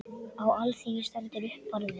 Á alþingi stendur upp Barði